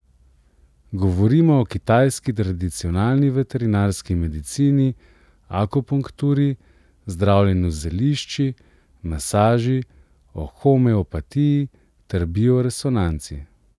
Govorimo o kitajski tradicionalni veterinarski medicini, akupunkturi, zdravljenju z zelišči, masaži, o homeopatiji ter bioresonanci.